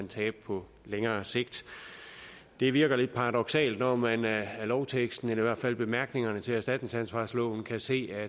tabe på længere sigt det virker lidt paradoksalt når man af lovteksten eller i hvert fald bemærkningerne til erstatningsansvarsloven kan se at